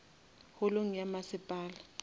holong ya masepala